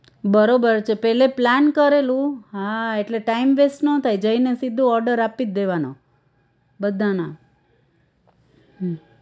બરોબર છે પેલે plan કરેલું હા એટલે time waist નો થાય જઈને સીધું order આપી જ દેવાનો બધાના હા